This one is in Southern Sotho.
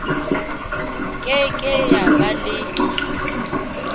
ke ke ya ba le